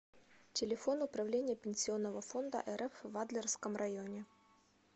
телефон управление пенсионного фонда рф в адлерском районе